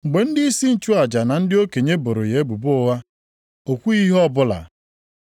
Mgbe ndịisi nchụaja na ndị okenye boro ya ebubo ụgha, o kwughị ihe ọbụla.